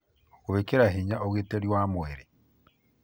Gwĩkĩra hinya ũgitĩri wa mwĩrĩ: